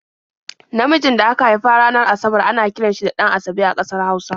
Namijin da aka haifa ranar Asabar ana kiran shi da 'Ɗan-asabe' a ƙasar Hausa.